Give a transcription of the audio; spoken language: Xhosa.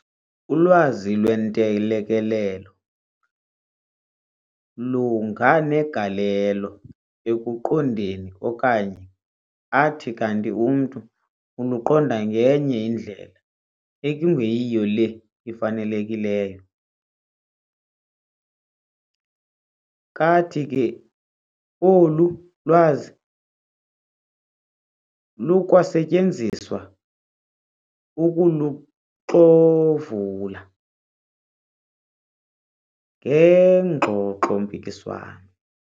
Ulwazi lwentelekelelo lunganegalelo ekuqondeni okanye athi kanti umntu uluqonda ngenye indlela ekungeyiyo le ifanelekileyo, kathi ke olu lwazi lukwasetyenziswa ukuluxovula ngengxoxo-mpikiswano.